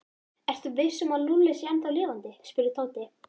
Ertu viss um að Lúlli sé ennþá lifandi? spurði Tóti.